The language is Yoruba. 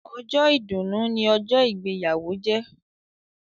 Ọjọ́ ìdùnnu ni ọjọ́ ìgbéyàwó jẹ́.